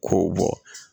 K'o bɔ